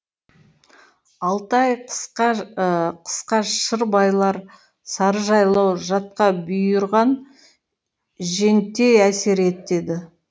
алты ай қысқа қысқа шыр байлар сарыжайлау жатқа бұйырған женттей әсер етеді